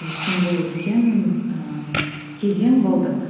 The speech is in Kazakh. біз үшін бұл үлкен ііі кезең болды